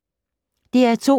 DR2